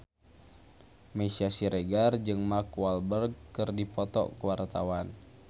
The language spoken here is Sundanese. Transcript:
Meisya Siregar jeung Mark Walberg keur dipoto ku wartawan